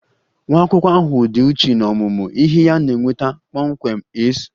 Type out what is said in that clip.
Nwa akwụkwọ ahụ dị uchu n'ọmụmụ ihe ya na-enweta kpọmkwem A's